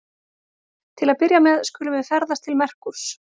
Til að byrja með skulum við ferðast til Merkúrs.